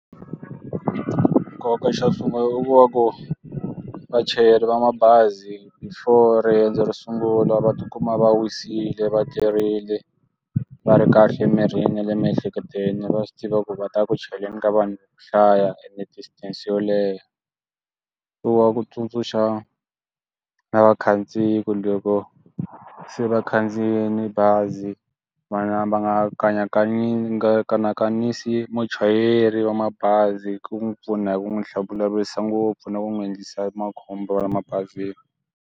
Ku nkoka xo sungula u wa ku vachayeri va mabazi for riendzo ro sungula va tikuma va wisile va tirhile va ri kahle emirini le miehleketweni va swi tiva ku va ta ku chaleni ka vanhu hlaya ene distance yo leha wa ku tsundzuxa na vakhandziyi loko se vakhandziyini bazi vana va nga kanaka va nga kanakanisa muchayeri wa mabazi ku n'wi pfuna hi ku n'wi vulavurisa ngopfu na ku n'wi endlisa makhombo la mabazini.